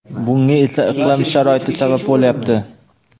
bunga esa iqlim sharoiti sabab bo‘lyapti.